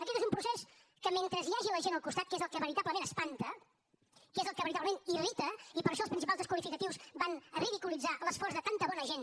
aquest és un procés que mentre hi hagi la gent al costat que és el que veritablement espanta que és el que veritablement irrita i per això els principals desqualificatius van a ridiculitzar l’esforç de tanta bona gent